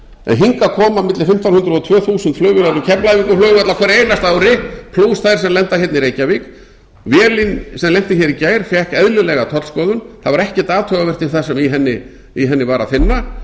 en hingað koma milli fimmtán hundruð og tvö þúsund flugvélar um keflavíkurflugvöll á hverju einasta ári plús þær sem lenda hérna í reykjavík vélin sem lenti hér í gær fékk eðlilega tollskoðun það var ekkert athugavert við það sem í henni var að finna